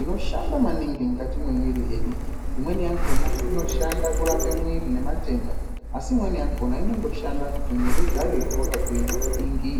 inoshanda maningi mukati memwiri yedu. Imweni yakhona inoshanda kurape mwiri ini matenda asi imweni yakhona inondoshanda kuti mwiri ugare wakagwinya maningi.